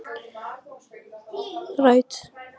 Líklega hefur verið komið framundir aðventu.